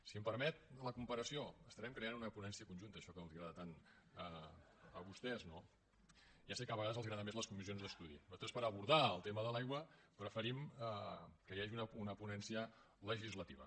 si em permet la comparació estarem creant una ponència conjunta això que els agrada tant a vostès no ja sé que a vegades els agraden més les comissions d’ estudi nosaltres per abordar el tema de l’aigua preferim que hi hagi una ponència legislativa